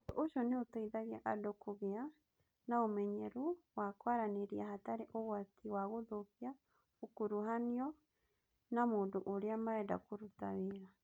Ũndũ ũcio nĩ ũteithagia andũ kũgĩa na ũmenyeru wa kwaranĩria hatarĩ ũgwati wa gũthũkia ũkuruhanu na mũndũ ũrĩa marenda kũruta wĩra.